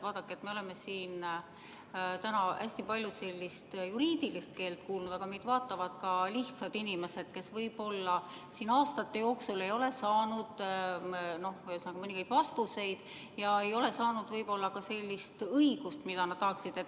Vaadake, me oleme täna siin hästi palju sellist juriidilist keelt kuulnud, aga meid vaatavad ka lihtsad inimesed, kes võib-olla aastate jooksul ei ole saanud mõningaid vastuseid ja ei ole saanud võib-olla sellist õigust, mida nad tahaksid.